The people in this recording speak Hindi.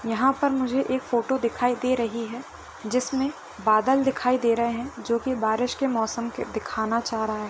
यहाँ पर मुझे एक फ़ोटो दिखाई दे रही है जिसमें बादल दिखाई दे रहे हैं जोकि बारिश के मौसम के दिखाना चाह रहा है।